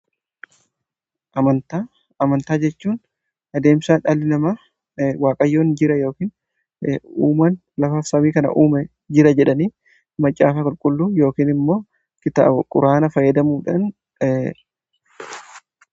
amantaan, amantaa jechuun adeemsaa dhalli nama waaqayyoo jira yookiin uumaan lafaaf samii kana uume jira jedhanii macaafaa qulqulluu yookiin immoo kitaaba quraana fayyadamuudhan